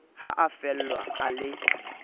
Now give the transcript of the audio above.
ha a fellwa a le